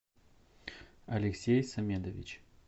алексей самедович